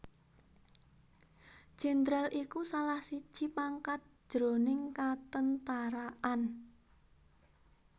Jéndral iku salah siji pangkat jroning katentaraan